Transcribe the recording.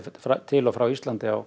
til og frá Íslandi á